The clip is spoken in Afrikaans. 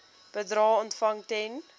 bedrae ontvang ten